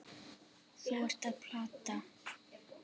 Þú ert að plata.